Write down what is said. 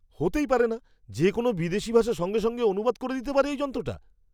হতেই পারে না! যে কোনও বিদেশী ভাষা সঙ্গে সঙ্গে অনুবাদ করে দিতে পারে এই যন্ত্রটা?